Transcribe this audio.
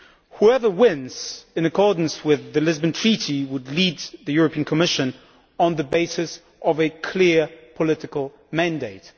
Whoever wins, in accordance with the Lisbon Treaty, would lead the European Commission on the basis of a clear political mandate.